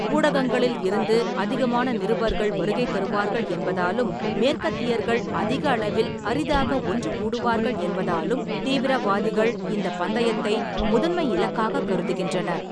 ஊடகங்களில் இருந்து அதிகமான நிருபர்கள் வருகை தருவார்கள் என்பதாலும் மேற்கத்தியர்கள் அதிக அளவில் அரிதாக ஒன்று கூடுவார்கள் என்பதாலும் தீவிரவாதிகள் இந்தப் பந்தயத்தை முதன்மை இலக்காகக் கருதுகின்றனர்.